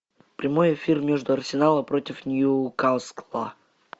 прямой эфир между арсенала против ньюкасла